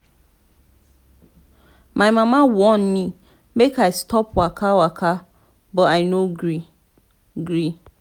my mama warn me make i stop waka waka but i no gree. gree.